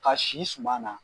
Ka si suma na